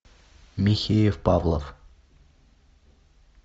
михеев павлов